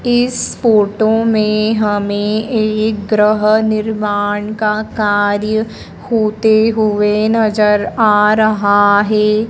इस फोटो में हमें एक ग्रह निर्माण का कार्य होते हुए नजर आ रहा है।